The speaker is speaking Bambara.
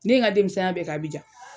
Ne ye ŋa denmisɛnya bɛɛ k'Abidjan.